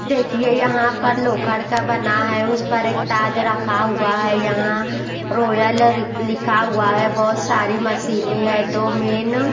देखिए यहाँ पर लोखंड़ का बना है उस पर एक ताज रखा हुआ है यहाँ रोयल लिखा हुआ है बहुत सारी मशीनें हैं दो मेन --